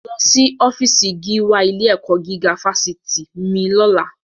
Lọ sí ọfíísì gíwá ilé-ẹ̀kọ́ gígá fásitì mi lọ́la!